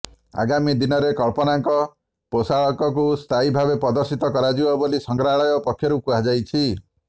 ଆଗାମୀ ଦିନରେ କଳ୍ପନାଙ୍କ ପୋଷାକକୁ ସ୍ଥାୟୀ ଭାବେ ପ୍ରଦର୍ଶିତ କରାଯିବ ବୋଲି ସଂଗ୍ରହାଳୟ ପକ୍ଷରୁ କୁହାଯାଇଛି